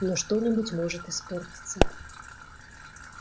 но что-нибудь может испортиться